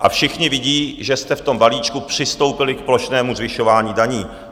A všichni vidí, že jste v tom balíčku přistoupili k plošnému zvyšování daní.